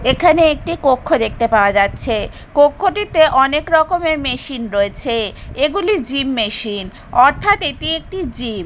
এখানে একটি কক্ষ দেখতে পাওয়া যাচ্ছে কক্ষটিতে অনেক রকমের মেশিন রয়েছে এগুলি জিম মেশিন অর্থাৎ এটি একটি জিম ।